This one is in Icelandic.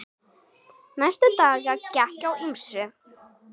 Næstu daga gekk á ýmsu.